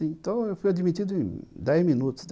Então eu fui admitido em dez minutos.